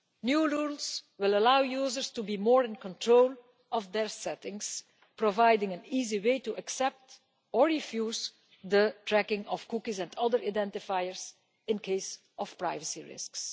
New rules will allow users to be more in control of their settings, providing an easy way to accept or refuse the tracking of cookies and other identifiers in case of privacy risks.